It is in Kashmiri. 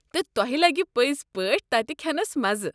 تہٕ تۄہہِ لگہِ پٔزۍ پٲٹھۍ تتہِ کھٮ۪نَس مزٕ۔